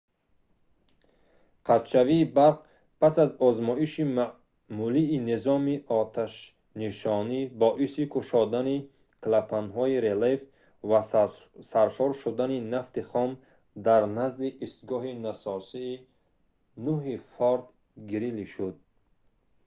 қатъшавии барқ пас аз озмоиши маъмулии низоми оташнишонӣ боиси кушодани клапанҳои релеф ва саршор шудани нафти хом дар назди истгоҳи насосии 9-и форт грили шуд